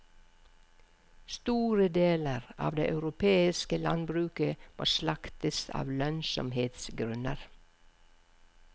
Store deler av det europeiske landbruket må slaktes av lønnsomhetsgrunner.